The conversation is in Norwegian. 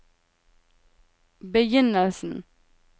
begynnelsen